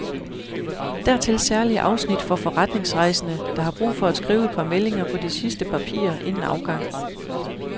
Dertil særlige afsnit for forretningsrejsende, der har brug for at skrive et par meldinger på de sidste papirer inden afgang.